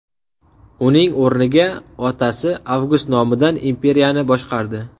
Uning o‘rniga otasi Avgust nomidan imperiyani boshqardi.